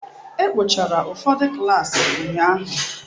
E kpochara ụfọdụ klaasị ụnyahụ.